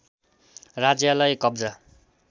राज्यालाई कब्जा